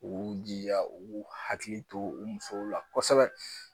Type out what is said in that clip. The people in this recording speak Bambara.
U jija u hakili to u musow la kosɛbɛ.